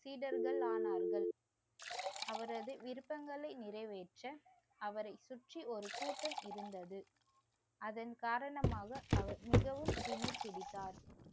சீடர்கள் ஆனார்கள். அவரது விருப்பங்களை நிறைவேற்ற அவரை சுற்றி ஒரு கூட்டம் இருந்தது. அதன் காரணமாக அவர் மிகவும் திமிர் பிடித்தார்